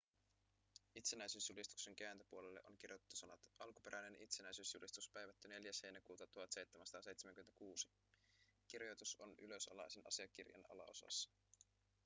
itsenäisyysjulistuksen kääntöpuolelle on kirjoitettu sanat alkuperäinen itsenäisyysjulistus päivätty 4 heinäkuuta 1776 kirjoitus on ylösalaisin asiakirjan alaosassa